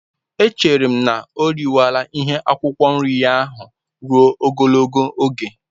Echere m na o riwela ihe akwụkwọ nri ya ahụ ruo ogologo oge.